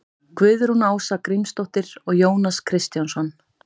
guðrún ása grímsdóttir og jónas kristjánsson